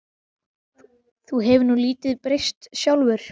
Þú hefur nú lítið breyst sjálfur.